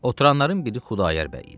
Oturanların biri Xudayar bəy idi.